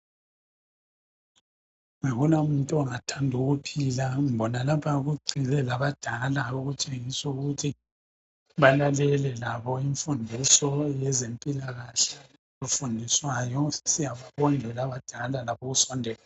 Akula muntu ongathandi ukuphila, ngibona lapha kugxile labadala okutshengisa ukuthi balalele labo imfundiso yezempilakahle okufundiswayo. Siyababongela abadala labi ukusondela.